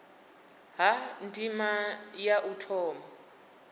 ha ndima ya u thoma